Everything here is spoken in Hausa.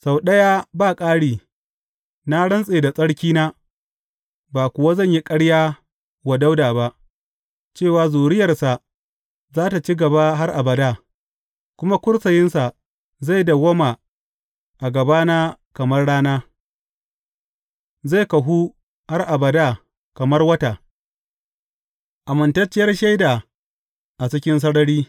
Sau ɗaya ba ƙari, na rantse da tsarkina, ba kuwa zan yi ƙarya wa Dawuda ba, cewa zuriyarsa za tă ci gaba har abada kuma kursiyinsa zai dawwama a gabana kamar rana; zai kahu har abada kamar wata, amintacciyar shaida a cikin sarari.